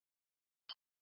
Andersson ekki meira með